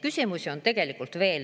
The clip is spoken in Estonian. Küsimusi on tegelikult veel.